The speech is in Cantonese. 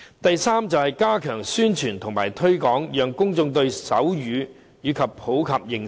第三，加強宣傳和推廣，讓公眾對手語有普及的認識。